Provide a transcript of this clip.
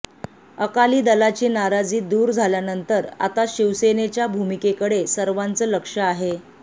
अकाली दलाची नाराजी दूर झाल्यानंतर आता शिवसेनेच्या भूमिकेकडे सर्वांचं लक्ष आहे